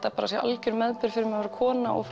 það sé algjör meðbyr fyrir mig að vera kona og